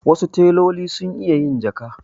Wasu teloli sun iya yin jaka.